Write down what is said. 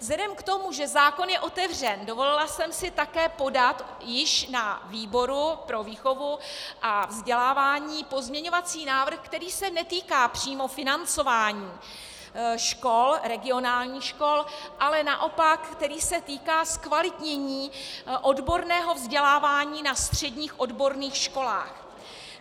Vzhledem k tomu, že zákon je otevřen, dovolila jsem si také podat již na výboru pro výchovu a vzdělávání pozměňovací návrh, který se netýká přímo financování škol, regionálních škol, ale naopak který se týká zkvalitnění odborného vzdělávání na středních odborných školách.